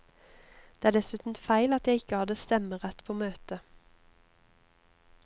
Det er dessuten feil at jeg ikke hadde stemmerett på møtet.